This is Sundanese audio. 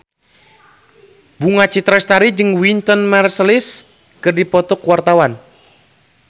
Bunga Citra Lestari jeung Wynton Marsalis keur dipoto ku wartawan